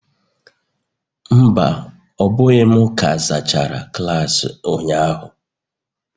Mba, ọ bụghị m ka zachara klaasị ụnyahụ